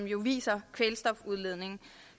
jo viser kvælstofudledningen